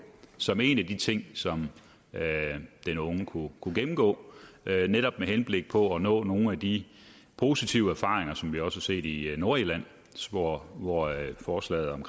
som en af de ting som den unge kunne kunne gennemgå netop med henblik på at opnå nogle af de positive erfaringer som vi også har set i nordirland hvor forslaget om